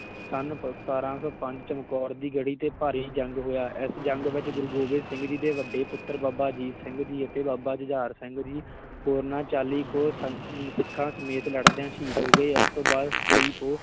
ਸਤਾਰਾਂ ਸੌ ਪੰਜ ਚਮਕੌਰ ਦੀ ਗੜ੍ਹੀ ਤੇ ਭਾਰੀ ਜੰਗ ਹੋਇਆ, ਇਸ ਜੰਗ ਵਿੱਚ ਗੁਰੂ ਗੋਬਿੰਦ ਸਿੰਘ ਜੀ ਦੇ ਵੱਡੇ ਪੁੱਤਰ ਬਾਬਾ ਅਜੀਤ ਸਿੰਘ ਜੀ ਅਤੇ ਬਾਬਾ ਜੁਝਾਰ ਸਿੰਘ ਜੀ ਹੋਰਨਾਂ ਚਾਲੀ ਕੁ ਸੰ~ ਅਮ ਸਿੱਖਾਂ ਸਮੇਤ ਲੜਦਿਆਂ ਸ਼ਹੀਦ ਹੋ ਗਏ, ਇਸ ਤੋਂ ਬਾਅਦ ਤੇਈ ਪੋਹ